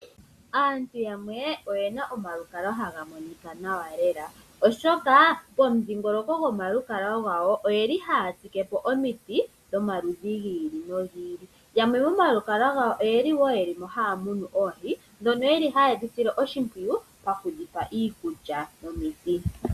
Aantu yamwe oye na omakukalwa ha ga monika nawa lela, oshoka pomudhiingolokongo gomalukalwa gawo oye li haa tsike po omiti dhomaludhi gi ili nogi ili. Yamwe momalukalwa gawo oye li wo, ye li mo haa munu oohi, ndhono ye li ha ye dhi sile oshimpwiyu, oku dhi pa iikulya nomiti.